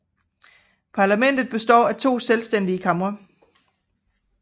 Parlamentet består af to selvstændige kamre